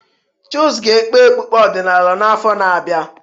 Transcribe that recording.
Chuks ga-ekpe okpukpe ọdịnala n'afọ na-abịa.